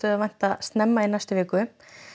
að vænta snemma í næstu viku